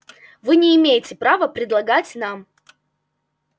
вы не имеете права предлагать нам